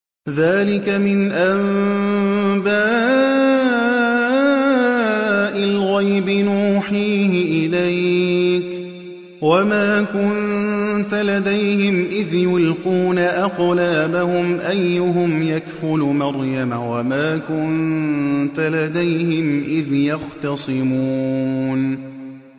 ذَٰلِكَ مِنْ أَنبَاءِ الْغَيْبِ نُوحِيهِ إِلَيْكَ ۚ وَمَا كُنتَ لَدَيْهِمْ إِذْ يُلْقُونَ أَقْلَامَهُمْ أَيُّهُمْ يَكْفُلُ مَرْيَمَ وَمَا كُنتَ لَدَيْهِمْ إِذْ يَخْتَصِمُونَ